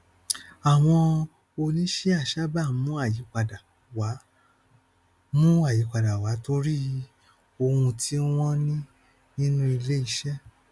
àwọn oníṣíà sábà ń mú ayípadà wá mú ayípadà wá torí ohun tí wọn ní nínú iléiṣẹ